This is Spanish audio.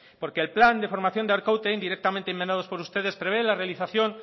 porque el plan de formación de arkaute indirectamente y enmendados por ustedes prevé la realización